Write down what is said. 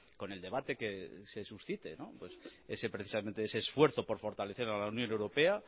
con el debate que se suscite precisamente ese esfuerzo por fortalecer a la unión europea